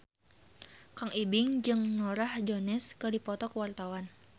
Kang Ibing jeung Norah Jones keur dipoto ku wartawan